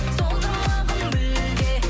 солдырмағын мүлде